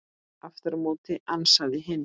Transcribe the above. Aftur á móti ansaði hinn